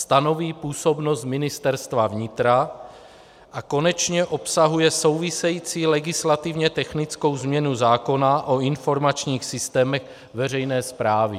Stanoví působnost Ministerstva vnitra a konečně obsahuje související legislativně technickou změnu zákona o informačních systémech veřejné správy.